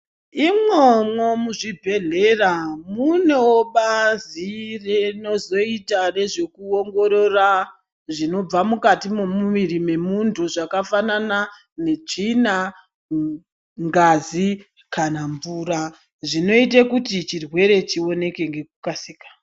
Imwomwo muzvibhedhlera munewo bazi rinozoita nezvekuongorora zvinobva mukati mwemuviri memuntu zvakafanana netsvina, ngazi kana mvura, zvinoite kuti chirwere chioneke ngekukasika.